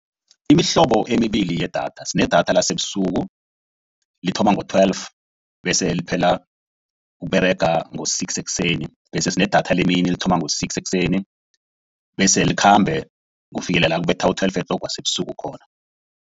Imihlobo emibili yedatha sine datha lasebusuku, lithoma ngo-twelve bese liphela ukuberega ngo-six ekuseni. Bese sine datha lemini lithoma ngo-six ekuseni bese likhambe kufikele nakubetha u-twelve o'clock wasebusuku khona.